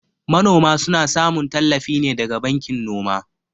Manoma suna samun tallafi ne daga bankin noma.